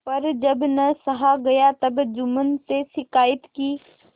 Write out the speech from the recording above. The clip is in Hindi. पर जब न सहा गया तब जुम्मन से शिकायत की